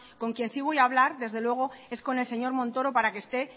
con quien sí voy a hablar desde luego es con el señor montoro para que esté